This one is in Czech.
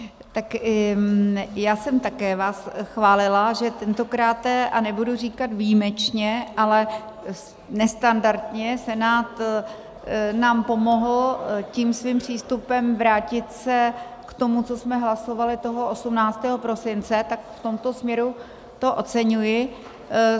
Tak já jsem také vás chválila, že tentokráte, a nebudu říkat výjimečně, ale nestandardně Senát nám pomohl tím svým přístupem vrátit se k tomu, co jsme hlasovali toho 18. prosince, tak v tomto směru to oceňuji.